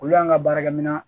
Olu y'an ka baarakɛminɛnw